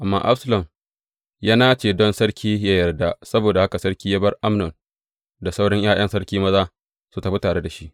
Amma Absalom ya nace don sarki yă yarda, saboda haka sarki ya bar Amnon da sauran ’ya’yan sarki maza su tafi tare da shi.